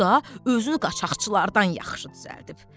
O da özünü qaçaqçılardan yaxşı düzəldib.